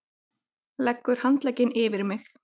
Leggur handlegginn yfir mig.